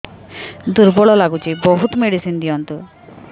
ଦୁର୍ବଳ ଲାଗୁଚି ବହୁତ ମେଡିସିନ ଦିଅନ୍ତୁ